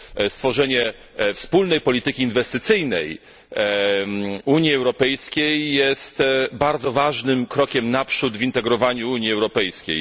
Stworzenie wspólnej polityki inwestycyjnej Unii Europejskiej jest bardzo ważnym krokiem naprzód w integrowaniu Unii Europejskiej.